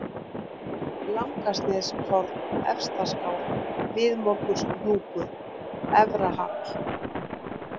Langasneiðingshorn, Efstaskál, Miðmorgunshnúkur, Efrahall